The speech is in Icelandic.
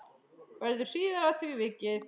Verður síðar að því vikið.